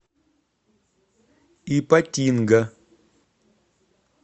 ипатинга